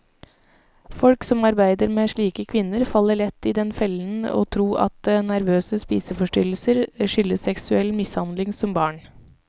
Folk som arbeider med slike kvinner, faller lett i den fellen å tro at nervøse spiseforstyrrelser skyldes seksuell mishandling som barn.